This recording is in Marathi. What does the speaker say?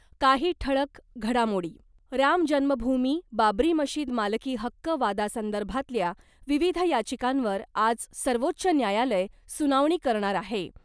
काही ठळक घडामोडी राम जन्मभूमी बाबरी मशीद मालकी हक्क वादासंदर्भातल्या विविध याचिकांवर आज सर्वोच्च न्यायालय सुनावणी करणार आहे .